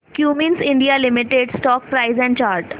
Cummins India limited stock price and chart